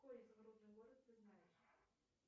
какой изумрудный город ты знаешь